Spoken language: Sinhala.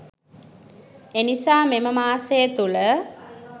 එනිසා මෙම මාසය තුළ